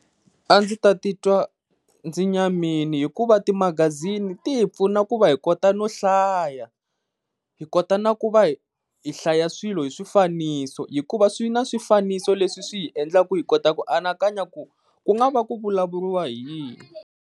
A ndzi ta ti twa ndzi nyamile, hikuva ti magaziniti hi pfuna ku va hi kota no hlaya hi kota na ku va hi hlaya swilo hi swifaniso hikuva swi na swifaniso leswi swi hi endlaka hi kota ku ku nga va ku vulavuriwa hi yini.